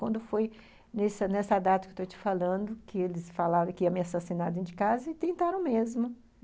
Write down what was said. Quando foi nessa nessa data que eu estou te falando, que eles falaram que ia me assassinar dentro de casa, tentaram mesmo.